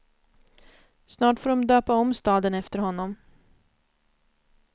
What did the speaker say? Snart får de döpa om staden efter honom.